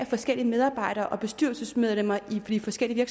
forskellige medarbejdere og bestyrelsesmedlemmer i de forskellige